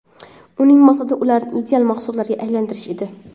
Uning maqsadi ularni ideal mahsulotga aylantirish edi.